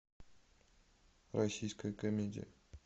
российская комедия